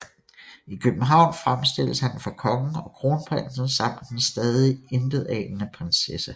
I København fremstilles han for kongen og kronprinsen samt den stadig intetanende prinsesse